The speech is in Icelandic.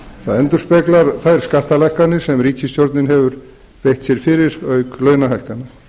það endurspeglar þær skattalækkanir sem ríkisstjórnin hefur beitt sér fyrir auk launahækkana